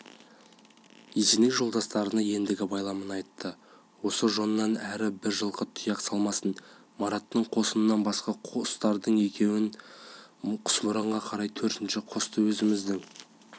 есеней жолдастарына ендігі байламын айтты осы жоннан әрі бір жылқы тұяқ салмасын мараттың қосынан басқа қостардың екеуін құсмұрынға қарай төртінші қосты өзіміздің